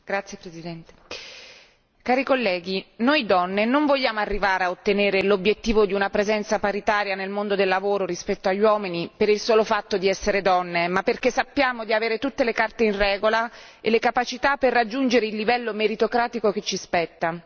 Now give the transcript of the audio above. Signor Presidente, onorevoli colleghi, noi donne non vogliamo arrivare a ottenere l'obiettivo di una presenza paritaria nel mondo del lavoro rispetto agli uomini per il solo fatto di essere donne, ma perché sappiamo di avere tutte le carte in regola e le capacità per raggiungere il livello meritocratico che ci spetta.